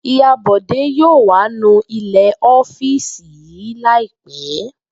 Ìyá Bò̩dé yóò wá nu ilè̩ ó̩fíìsì yìí láì pé̩